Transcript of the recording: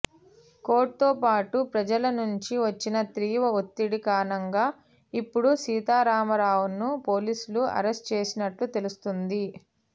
కోర్టుతో పాటు ప్రజల నుంచి వచ్చిన తీవ్ర ఒత్తిడి కారణంగా ఇపుడు సీతారామారావును పోలీసులు అరెస్ట్ చేసినట్లు తెలుస్తోంది